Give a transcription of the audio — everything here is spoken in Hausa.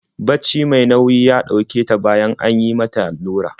Bacci mai nayi ya ɗauke ta bayan an yi mata allurar.